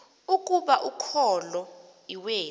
ukuba ukholo iwethu